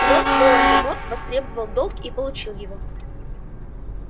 лорд волан-де-морт востребовал долг и получил его